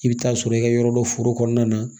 I bɛ taa sɔrɔ i ka yɔrɔ dɔ foro kɔnɔna na